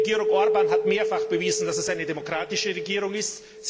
Die Regierung Orbán hat mehrfach bewiesen, dass sie eine demokratische Regierung ist.